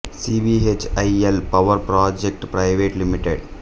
C B H E L power projects private limited